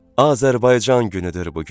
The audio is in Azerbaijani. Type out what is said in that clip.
Azərbaycan günüdür bu gün.